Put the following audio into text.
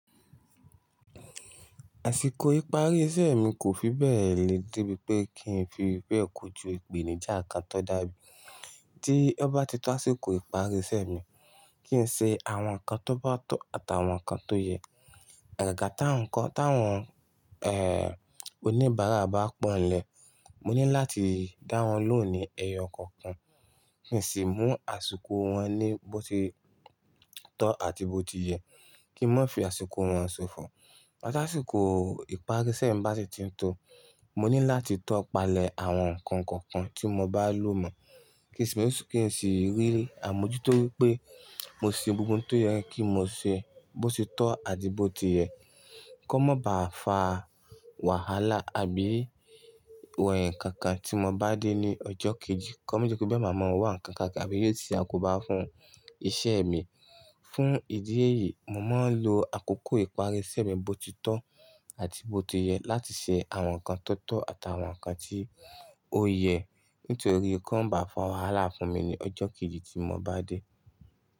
Àsìkò ìparí iṣẹ́ mi kò fi bẹ́ẹ̀ le dé bí pé kí n fi bẹ́ẹ̀ kojú ìpèníjà kan tó dàbí. Tí ó bá ti tó àsìkò ìparí iṣẹ́ mi, kí n ṣe àwọn nǹkan tó bá tọ́ àtàwọn nǹkan tó yẹ. Agàgà tá ń kọ́ táwọn, ẹ́ẹ́, oníbàárà bá pọ̀nlẹ̀, mo ní láti dáwọn lóhùn ní ẹyọ kọ̀ọ̀kan. Kí n sì mú àsìkò wọn ní bó se tọ́ àti bó ti yẹ. Kí moo fi àsìkò wọn ṣofọ. Ta àsìkò ìparí iṣẹ́ mi bá si ti ń tọ́, mo ní láti tọ́ palẹ̀ àwọn nǹkan kọ̀ọ̀kan tí mo bá lò mọ́. Kí n sì rí àmójútó wípé mo ṣe gbogbo ohun tó yẹ kí mo ṣe bó ti tọ́ àti bó ti yẹ. Ko má bá fa wàhálà àbí eh-kankan tí mo bá dé ní ọjọ́ kejì. Kí ó tó bí bẹ́ẹ̀ máa mọ wà kankan àbí yóò sì á kóbá fún iṣẹ́ mi. Fún ìdí èyí, mo máa ń lo àkókò ìparí iṣẹ́ mi bó ti tọ́ àti bó ti yẹ láti ṣe àwọn nǹkan tó tọ́ àtàwọn nǹkan tí ó yẹ. Nítorí kí wọ́n má fa wàhálà fún mi ní ọjọ́ kejì tí mo bá dé.